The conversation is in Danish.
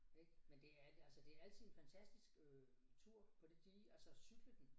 Ik men det er altså det er altid en fantastisk tur på det dige altså cykle den